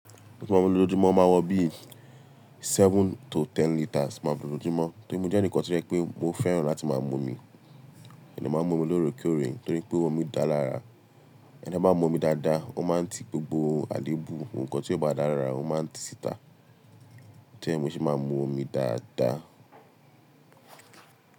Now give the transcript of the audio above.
Bí mo bá ń lo lójúmọ́ máa wọ bíi seven to ten litres máa ń lo lójúmọ́ torí mo jẹ́ ẹnìkan tí rẹ pé mo fẹ́ràn láti máa mu omi. Èmi máa ń mu omi lóorekéòre torí pé omi dára rárá. Ẹni bá máa mu omi dáadáa, ó máa ń ti gbogbo àléébù. Ohunkóhùn tí ó bá dára rárá ó máa ń ti síta. Tori ẹ ni mó ṣe máa ń mu omi dáadáa.